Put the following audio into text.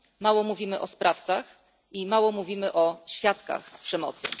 Mało mówimy o sprawcach i mało mówimy o świadkach przemocy.